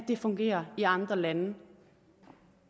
det fungerer i andre lande